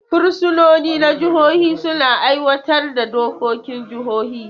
Fursunoni na jihohi suna aiwatar da dokokin jihohi.